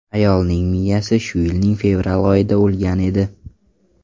Ayolning miyasi shu yilning fevral oyida o‘lgan edi.